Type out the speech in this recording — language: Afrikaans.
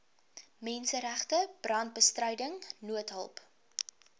menseregte brandbestryding noodhulp